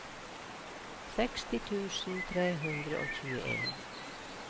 seksti tusen tre hundre og tjueen